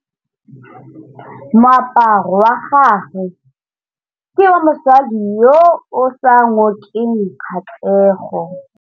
Moaparô wa gagwe ke wa mosadi yo o sa ngôkeng kgatlhegô.